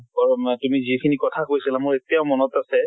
তʼ মা তুমি যিখিনি কথা কৈছিলা মোৰ এতিয়াও মনত আছে।